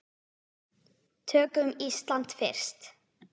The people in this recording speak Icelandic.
Tökum Ísland fyrst.